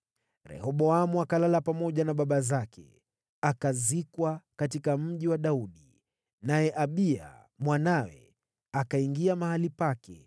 Rehoboamu akalala na baba zake, akazikwa katika Mji wa Daudi. Naye Abiya mwanawe akawa mfalme baada yake.